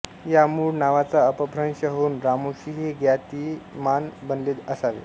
या मूळ नावाचा अपभ्रंश होऊन रामोशी हे ज्ञातिमान बनले असावे